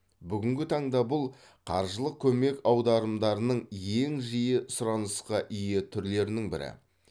бүгінгі таңда бұл қаржылық көмек аударымдарының ең жиі сұранысқа ие түрлерінің бірі